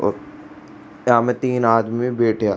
और या मे तीन आदमी बैठे हा।